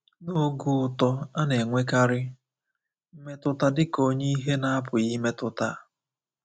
N’oge uto, a na-enwekarị mmetụta dịka onye ihe na-apụghị imetụta.